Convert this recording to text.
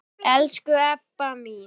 Elsku Ebba mín.